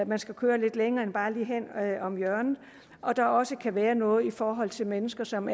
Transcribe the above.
man skal køre lidt længere end bare lige hen om hjørnet og at der også kan være noget i forhold til mennesker som